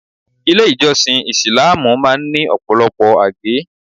Ilé ìjọsìn Isìláámù máa ń ní Ọ̀pọ̀lọpọ̀ àgé.